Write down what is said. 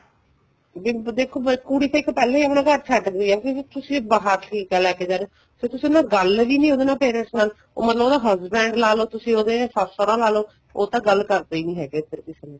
ਦੇਖੋ ਕੁੜੀ ਤਾਂ ਇੱਕ ਪਹਿਲਾਂ ਆਪਣਾ ਹੀ ਇੱਕ ਘਰ ਛੱਡ ਗਈ ਏ ਕਿਉਂਕਿ ਤੁਸੀਂ ਬਾਹਰ ਠੀਕ ਏ ਲੈਕੇ ਜਾ ਰਹੇ ਹੋ ਫ਼ੇਰ ਤੁਸੀਂ ਗੱਲ ਵੀ ਨਹੀਂ ਉਹਦੇ ਨਾਲ parents ਨਾਲ ਮਤਲਬ ਉਹਦਾ husband ਲਾਲੋ ਤੁਸੀਂ ਉਹਦੇ ਸੱਸ ਸਹੁਰਾ ਲਾਲੋ ਉਹ ਤਾਂ ਗੱਲ ਕਰਦੇ ਹੀ ਨਹੀਂ ਹੈਗੇ ਇੱਧਰ ਕਿਸੇ ਨਾਲ